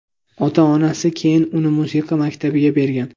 Ota-onasi keyin uni musiqa maktabiga bergan.